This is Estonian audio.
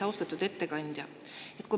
Austatud ettekandja!